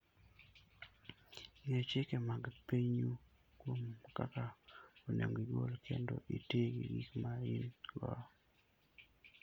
Ng'e chike mag pinyu kuom kaka onego igol kendo iti gi gik ma in-go.